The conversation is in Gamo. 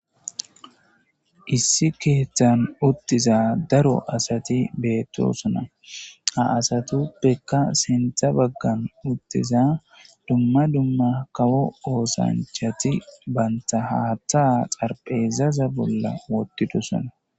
Issi keeththan uttiza daro asati beettosona. Ha asatuppekka sinththa baggan uttiza dumma dumma kawo oosanchati banta haatha xarpheezaza bolla wotidosona.